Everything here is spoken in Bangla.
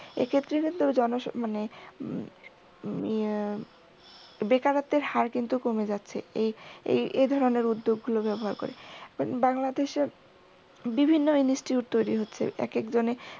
এক্ষেত্রে কিন্তু জন মানে উম বেকারত্বের হার কিন্তু কমে যাচ্ছে। এই এই এই ধরনের উদ্যোগগুলো ব্যবহার করে। বাংলাদেশে বিভিন্ন institute তৈরি হচ্ছে একেকজনে